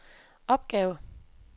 opgave